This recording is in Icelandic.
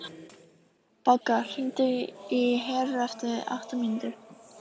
Bogga, hringdu í Heru eftir átta mínútur.